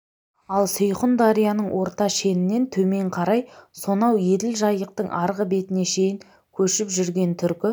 ал сейхұн дарияның орта шенінен төмен қарай сонау еділ жайықтың арғы бетіне дейін көшіп жүрген түркі